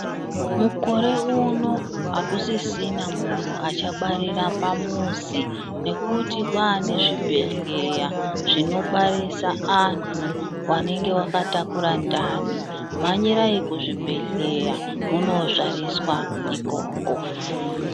Mukore uno akusisina munhu achabarira pamuzi, ngekuti kwaane zvibhedhleya zvinobarisa anhu vanenge vakataura ndani. Mhanyirai kuzvibhedhleya munozvariswa ikoko.